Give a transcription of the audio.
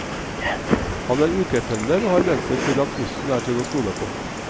Han er ukependler og har vent seg til at bussen er til å stole på.